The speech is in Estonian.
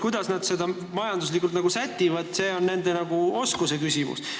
Kuidas nad seda majanduslikult sätivad, on nagu nende oskuse küsimus.